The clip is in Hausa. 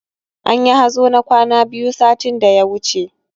Anyi hazo na kwana biyu satin da ya wuce